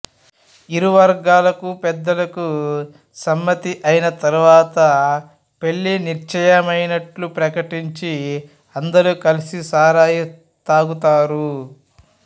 ఇరువర్గాలకు పెద్దలకు సమ్మతి అయిన తరువాత పెళ్ళి నిశ్చయమైనట్లు ప్రకటించి అందరూ కలిసి సారాయి త్రాగుతారు